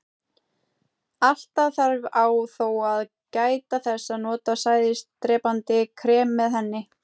Alltaf þarf á þó að gæta þess að nota sæðisdrepandi krem með henni.